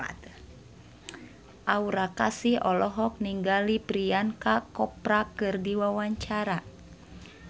Aura Kasih olohok ningali Priyanka Chopra keur diwawancara